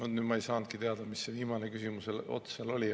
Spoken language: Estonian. Nüüd ma ei saanudki teada, mis see viimane küsimuse ots seal oli.